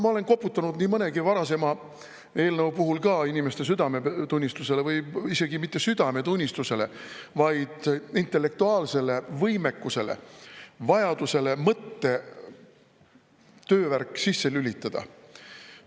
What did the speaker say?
Ma olen nii mõnegi varasema eelnõu puhul ka inimeste südametunnistusele koputanud, või isegi mitte südametunnistusele, vaid intellektuaalsele võimekusele, vajadusele mõttetöövärk sisse lülitada.